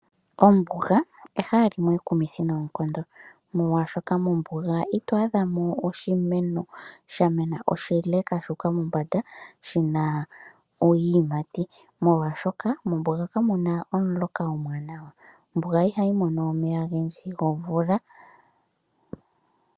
Ombuga ehala limwe ekumithi noonkondo molwashoka mombuga ito adha mo oshimeno sha mena oshile shu uka mombanda shina iiyimati molwashoka mombuga kamu na omuloka gwa gwana. Ombuga ihayi mono omeya gomvula.